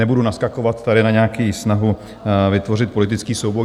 Nebudu naskakovat tady na nějakou snahu vytvořit politický souboj.